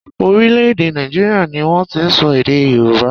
Orílẹ̀-èdè Nàìjíríà ni wọ́n ti ń sọ èdè Yorùbá.